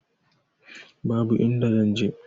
Babu inda zan je.